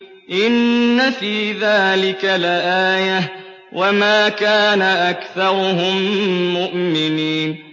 إِنَّ فِي ذَٰلِكَ لَآيَةً ۖ وَمَا كَانَ أَكْثَرُهُم مُّؤْمِنِينَ